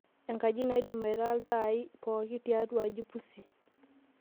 enkaji naidim aitaa iltaai pooki tiatua aji pusi